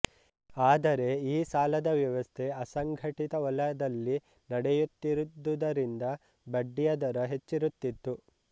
ಆದರೆ ಈ ಸಾಲದ ವ್ಯವಸ್ಥೆ ಅಸಂಘಟಿತ ವಲದಲ್ಲಿ ನಡೆಯುತ್ತಿದ್ದುದರಿಂದ ಬಡ್ದಿಯ ದರ ಹೆಚ್ಚಿರುತ್ತಿತು